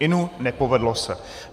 Inu, nepovedlo se.